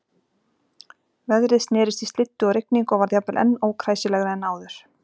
Veðrið snerist í slyddu og rigningu og varð jafnvel enn ókræsilegra en áður.